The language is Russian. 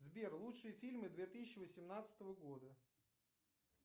сбер лучшие фильмы две тысячи восемнадцатого года